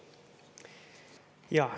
Jaa.